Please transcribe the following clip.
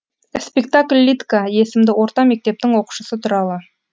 спектакль лидка есімді орта мектептің оқушысы туралы